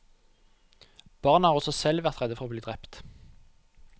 Barna har også selv vært redde for å bli drept.